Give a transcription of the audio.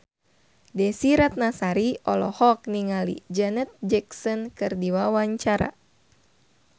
Desy Ratnasari olohok ningali Janet Jackson keur diwawancara